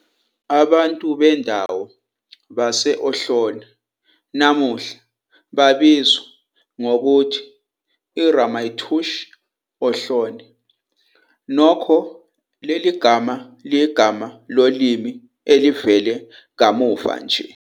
Abantu bendawo base-Ohlone namuhla babizwa ngokuthi iRamaytush Ohlone, nokho leli gama liyigama lolimi elivele kamuva nje.